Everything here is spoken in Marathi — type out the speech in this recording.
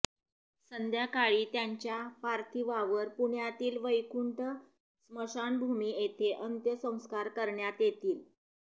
संध्याकाळी त्यांच्या पार्थिवावर पुण्यातील वैकुंठ स्मशानभूमी येथे अंत्यसंस्कार करण्यात येतील